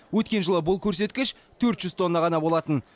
өткен жылы бұл көрсеткіш төрт жүз тонна ғана болатын